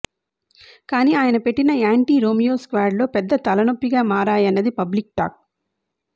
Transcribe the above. కానీ ఆయన పెట్టిన యాంటీ రోమియో స్క్వాడ్ లో పెద్ద తలనొప్పిగా మారాయన్నది పబ్లిక్ టాక్